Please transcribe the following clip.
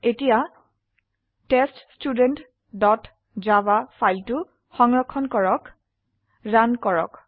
এতিয়া test student dot java ফাইলটি সংৰক্ষণ কৰক ৰান কৰক